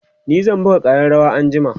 ni zan buga ƙararawa anjima